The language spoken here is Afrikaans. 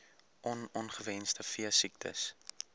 on ongewenste veesiektes